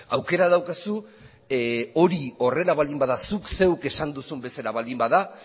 aukera daukazu hori horrela baldin bada zuk zeuk esan duzun bezala baldin bada